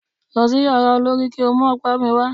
Lọ sí yàrá olorì kí o mú ọ̀pá mi wà.